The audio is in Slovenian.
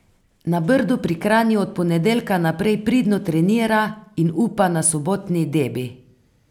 Na Brdu pri Kranju od ponedeljka naprej pridno trenira in upa na sobotni debi.